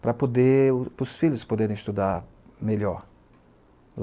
para poder, para os filhos poderem estudar melhor.